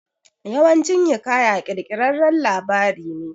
Yawancin hiƙaya kirkirarren labari ne